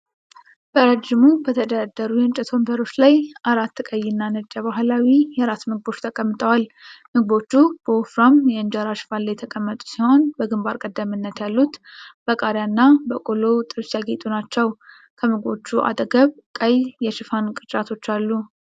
በረጅሙ በተደረደሩ የእንጨት ወንበሮች ላይ አራት ቀይ እና ነጭ የባህላዊ የራት ምግቦች ተቀምጠዋል። ምግቦቹ በወፍራም የእንጀራ ሽፋን ላይ የተቀመጡ ሲሆን በግንባር ቀደምት ያሉት በቃሪያ እና በቆሎ ጥብስ ያጌጡ ናቸው። ከምግቦቹ አጠገብ ቀይ የሽፋን ቅርጫቶች አሉ።